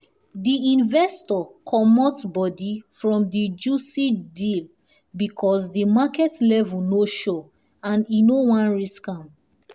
the investor comot comot body from the juicy deal because the market level no sure and e no wan risk am.